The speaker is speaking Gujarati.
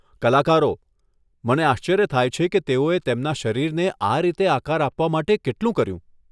કલાકારો, મને આશ્ચર્ય થાય છે કે તેઓએ તેમના શરીરને આ રીતે આકાર આપવા માટે કેટલું કર્યું.